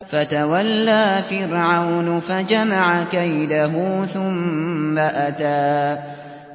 فَتَوَلَّىٰ فِرْعَوْنُ فَجَمَعَ كَيْدَهُ ثُمَّ أَتَىٰ